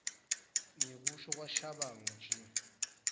ngekusho kwashabangu g